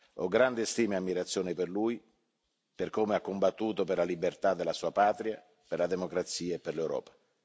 Ho grande stima e ammirazione per lui, per come ha combattuto per la libertà della sua patria, per la democrazia e per l'Europa.